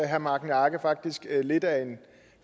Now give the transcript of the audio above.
herre magni arge faktisk er lidt af en